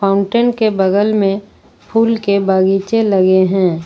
Fountain के बगल में फूल के बगीचे लगे हैं।